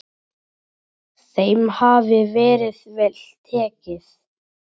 Þeim hafi verið vel tekið.